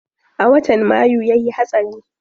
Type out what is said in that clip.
A watan mayu yayi hatsari.